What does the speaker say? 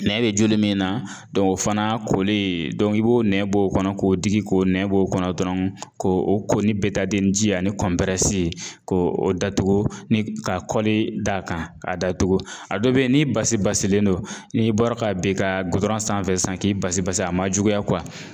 Nɛn bɛ joli min na o fana koli i b'o nɛn bɔ o kɔnɔ k'o digi k'o nɛn bɔ o kɔnɔ dɔrɔn k'o ko ni ji ani k'o datugu ni ka da kan a datugu a dɔ bɛ yen n'i basi basilen don n'i bɔra k'a bin ka sanfɛ sisan k'i basi basi a ma juguya